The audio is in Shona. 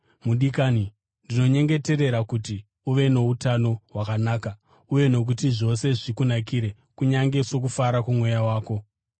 Mudikani, ndinonyengetera kuti uve noutano hwakanaka uye kuti zvose zvikunakire kunyange sokufara kwomweya wako.